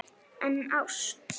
En ást?